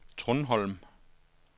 Trundholm